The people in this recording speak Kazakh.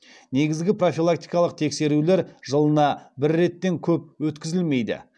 негізгі профилактикалық тексерулер жылына бір реттен көп өткізілмейді